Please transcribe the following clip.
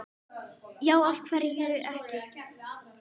Já, af hverju ekki?